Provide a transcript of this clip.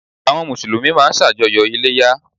Àwọn Mùsùlùmí máa n sàjọyọ̀ Iléyá